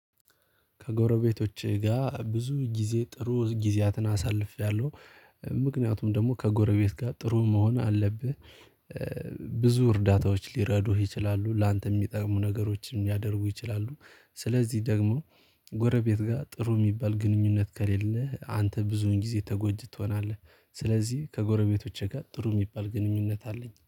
ከጎረቤቶቼ ጋር ብዙ ጊዜ ጥሩ ጊዜያትን አሳልፌያለሁ ምክንያቱም ደግሞ ከጎረቤት ጋር ጥሩ መሆን አለብህ። ብዙ እርዳታዎች ሊረዱህ ይችላሉ ላንተ የሚጠቅሙ ነገሮችን ሊያደርጉ ይችላሉ። ስለዚህ ደግሞ ጎረቤት ጋር ጥሩ የሚባል ግንኙነት ከሌለህ አንተ ብዙን ጊዜ ተጎጅጠጂ ትሆናል። ስለዚህ ከጎረቤቶቼ ጋር ጥሩ የሚባል ግንኙነት አለኝ